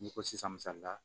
N'i ko sisan misalila